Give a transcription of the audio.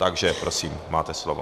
Takže prosím, máte slovo.